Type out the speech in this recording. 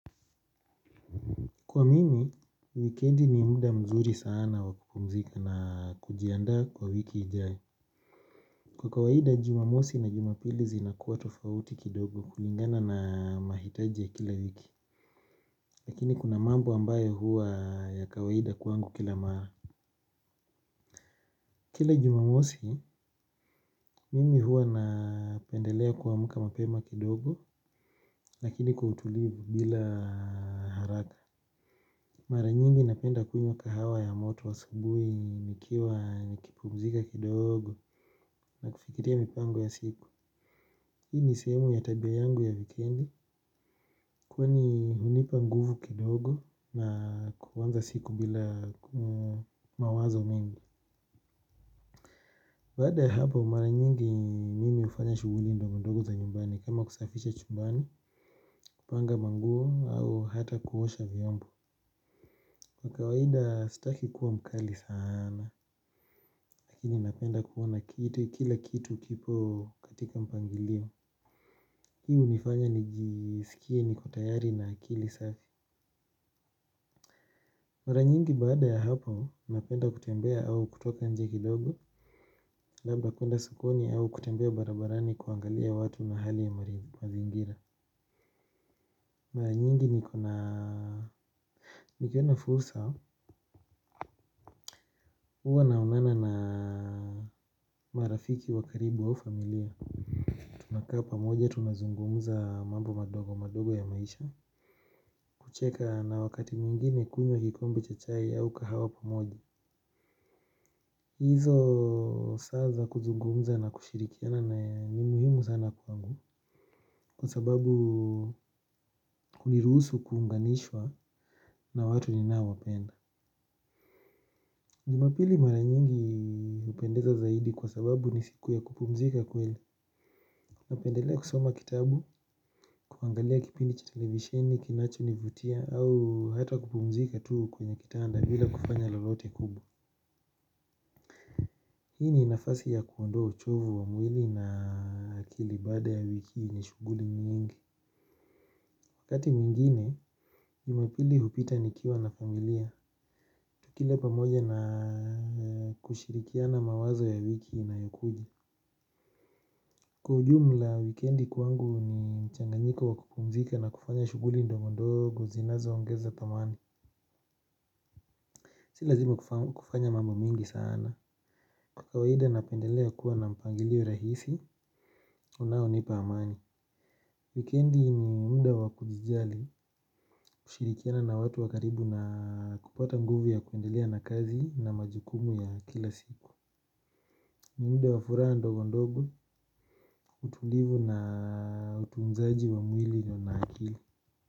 Kwa mimi, wikendi ni muda mzuri sana wa kupumzika na kujiandaa kwa wiki ijaye. Kwa kawaida jumamosi na jumapili zinakuwa tofauti kidogo kulingana na mahitaji ya kila wiki. Lakini kuna mambo ambayo huwa ya kawaida kwangu kila mara. Kila jumamosi, mimi huwa napendelea kuamka mapema kidogo, lakini kwa utulivu bila haraka. Mara nyingi napenda kunywa kahawa ya moto wa asubuhi nikiwa nikipumzika kidogo na kufikiria mipango ya siku. Hii ni sehemu ya tabia yangu ya wikendi kwani hunipa nguvu kidogo na kuanza siku bila mawazo mengi. Baada ya hapo mara nyingi mimi hufanya shughuli ndogo ndogo za nyumbani kama kusafisha chumbani, panga manguo au hata kuosha vyombo. Kwa kawaida staki kuwa mkali sana. Lakini napenda kuona kitu kila kitu kipo katika mpangilio. Hii hunifanya nijisikie niko tayari na akili safi. Mara nyingi baada ya hapo napenda kutembea au kutoka nje kidogo. Labda kuenda sokoni au kutembea barabarani kuangalia watu na hali ya mazingira. Mara nyingi nikona nikiona fursa huwa naonana na marafiki wa karibu au familia. Tunakaa pamoja tunazungumza mambo madogo madogo ya maisha. Kucheka na wakati mwingine kunywa kikombe cha chai au kahawa pamoja. Hizo saa za kuzungumza na kushirikiana na ni muhimu sana kwangu. Kwa sababu hunirusu kuunganishwa na watu ninaowapenda jumapili mara nyingi hupendeza zaidi kwa sababu ni siku ya kupumzika kweli. Napendelea kusoma kitabu, kuangalia kipindi cha televisheni, kinachonivutia au hata kupumzika tu kwenye kitanda bila kufanya lolote kubwa. Hii ni nafasi ya kuondoa uchovu wa mwili na akili baada ya wiki yenye shughuli nyingi. Wakati mwingine, jumapili hupita nikiwa na familia. Tukila pamoja na kushirikiana mawazo ya wiki inayokuja. Kwa ujumla, wikendi kwangu ni changanyiko wa kupumzika na kufanya shughuli ndogondogo, zinazoongeza thamani. Si lazima kufanya mambo mingi sana. Kwa kawaida napendelea kuwa na mpangilio rahisi, unaonipa amani. Wikendi ni muda wa kujijali, kushirikiana na watu wa karibu na kupata nguvu ya kuendelea na kazi na majukumu ya kila siku. Ni muda wa furaha ndogondogo, utulivu na utunzaji wa mwili na akili.